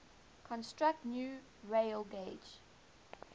construct new railgauge